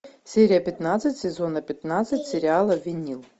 серия пятнадцать сезона пятнадцать сериала винил